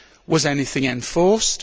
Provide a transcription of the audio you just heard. Was anything enforced?